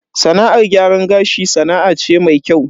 Sana'ar gyaran gashi sana'a ce mai kyau.